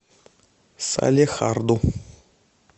салехарду